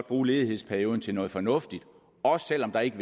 bruge ledighedsperioden til noget fornuftigt også selv om der ikke